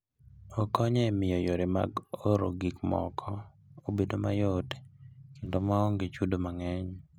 Okonyo e miyo yore mag oro gik moko obed mayot kendo ma onge chudo mang'eny.